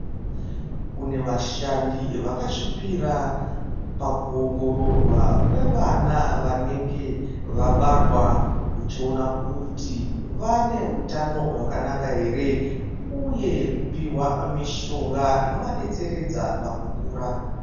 Kune vashandi vakazvipira pakuongororwa kwevana kwevana vanenge vabarwa uchiona kuti vane utano hwakanaka here uye kupiwa mishonga inovadetseredza pakukura.